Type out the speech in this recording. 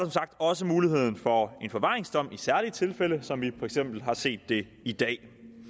også muligheden for en forvaringsdom i særlige tilfælde som vi for eksempel har set det i dag